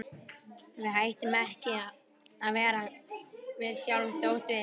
Við hættum ekki að vera við sjálf þótt við.